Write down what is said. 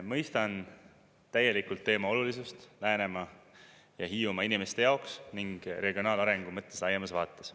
Mõistan täielikult teema olulisust Läänemaa ja Hiiumaa inimeste jaoks ning regionaalarengu mõttes laiemas vaates.